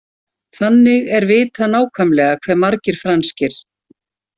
Þannig er vitað nákvæmlega hve margir franskir.